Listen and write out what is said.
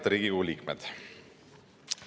Head Riigikogu liikmed!